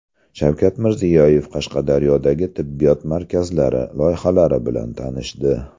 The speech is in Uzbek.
Shavkat Mirziyoyev Qashqadaryodagi tibbiyot markazlari loyihalari bilan tanishdi.